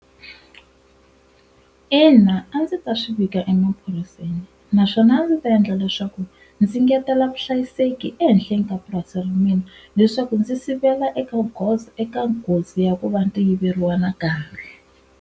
Ina a ndzi ta swivika emaphoriseni naswona a ndzi ta endla leswaku ndzi ngetela vuhlayiseki ehenhleni ka purasi ra mina leswaku ndzi sivela eka goza eka nghozi ya ku va ndzi yiveriwa nakambe.